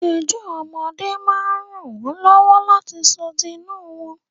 Ẹjọ́ ọmọdé máa ń ràn wọ́n lọ́wọ́ láti sọ tinú wọ́n.